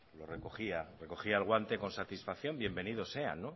lo recogía recogía el guante con satisfacción bienvenido sean